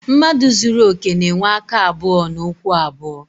Mmadụ zuru okè na-enwe aka abụọ na ụkwụ abụọ.